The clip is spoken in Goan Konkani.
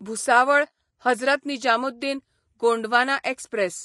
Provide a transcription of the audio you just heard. भुसावळ हजरत निजामुद्दीन गोंडवाना एक्सप्रॅस